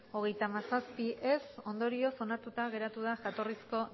hogeita hamazazpi ez ondorioz onartuta geratu da jatorrizko